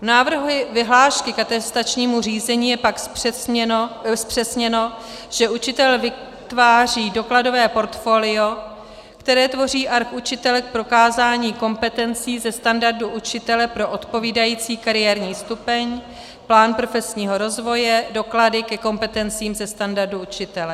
V návrhu vyhlášky k atestačnímu řízení je pak zpřesněno, že učitel vytváří dokladové portfolio, které tvoří arch učitele k prokázání kompetencí ze standardu učitele pro odpovídající kariérní stupeň, plán profesního rozvoje, doklady ke kompetencím ze standardu učitele.